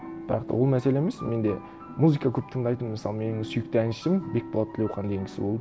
бірақ та ол мәселе емес мен де музыка көп тыңдайтынмын мысалы менің сүйікті әншім бекболат тілеухан деген кісі болды